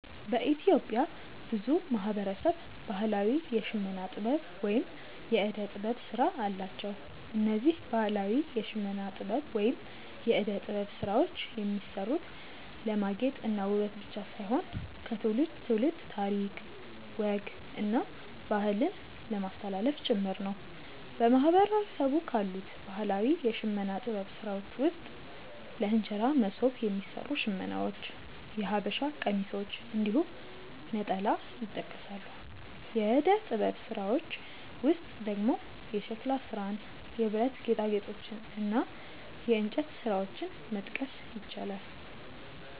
በኢትዮጵያ ብዙ ማህበረሰብ ባህላዊ የሽመና ጥበብ ወይም የእደ ጥበብ ስራ አላቸው። እነዚህ ባህላዊ የሽመና ጥበብ ወይም የእደ ጥበብ ስራዎች የሚሰሩት ለማጌጥ እና ውበት ብቻ ሳይሆን ከትውልድ ትውልድ ታሪክ፣ ወግ እና ባህልን ለማስተላለፍ ጭምር ነው። በማህበረሰቡ ካሉት ባህላዊ የሽመና ጥበብ ስራዎች ውስጥ ለእንጀራ መሶብ የሚሰሩ ሽመናዎች፣ የሐበሻ ቀሚሶች እንዲሁም ነጠላ ይጠቀሳሉ። የእደ ጥበብ ስራዎች ውስጥ ደግሞ የሸክላ ስራን፣ የብረት ጌጣጌጦችን እና የእንጨት ስራዎችን መጥቀስ ይቻላል።